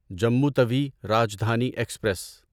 Jammu Tawi Rajdhani express